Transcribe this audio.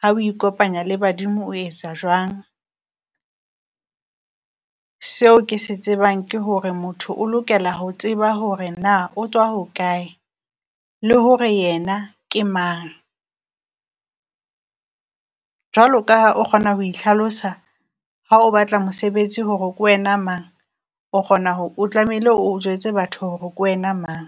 ha o ikopanya le badimo o etsa jwang. Seo ke se tsebang ke hore motho o lokela ho tseba hore naa o tswa hokae, le hore yena ke mang. Jwalo ka ha o kgona ho ihlalosa ha o batla mosebetsi, hore kwena mang o kgona ho o tlamehile o jwetse batho hore kwena mang.